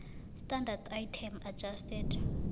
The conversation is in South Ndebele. standard item adjusted